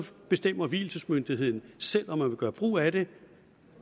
bestemmer vielsesmyndigheden selv om man vil gøre brug af det